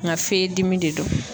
Nka fe dimi de don.